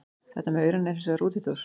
Þetta með aurana er hins vegar útúrdúr.